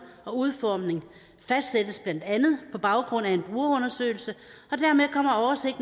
og udformning fastsættes blandt andet på baggrund af en brugerundersøgelse